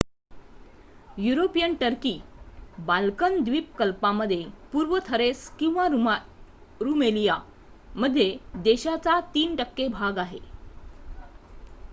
European Turkey Balkan द्वीप कल्पामध्ये पूर्व थरेस किंवा रूमएलिया मध्ये देशाचा 3% भाग आहे